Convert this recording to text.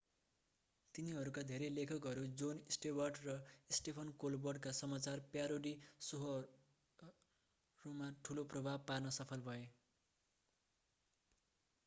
तिनीहरूका धेरै लेखकहरू jon stewart र stephen colbert का समाचार प्यारोडी शोहरूमा ठूलो प्रभाव पार्न सफल भए